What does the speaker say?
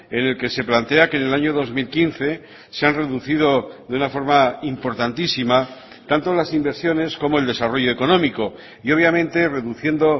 en el que se plantea que en el año dos mil quince se han reducido de una forma importantísima tanto las inversiones como el desarrollo económico y obviamente reduciendo